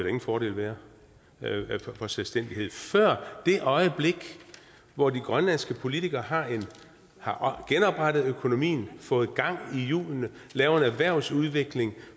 ingen fordel være ved selvstændighed før det øjeblik hvor de grønlandske politikere har genoprettet økonomien fået gang i hjulene lavet en erhvervsudvikling